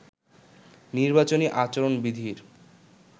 নির্বাচনী আচরণ বিধির